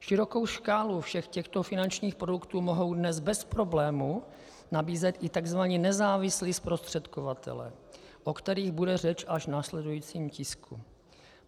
Širokou škálu všech těchto finančních produktů mohou dnes bez problémů nabízet i tzv. nezávislí zprostředkovatelé, o kterých bude řeč až v následujícím tisku.